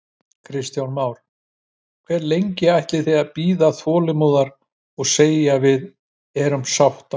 Kristján Már: En hve lengi ætlið þið að bíða þolinmóðar og segja við erum sáttar?